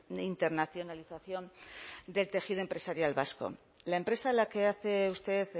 de internacionalización del tejido empresarial vasco la empresa a la que hace usted